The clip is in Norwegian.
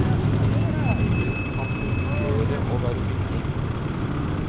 Det kan fungere og være hyggelig.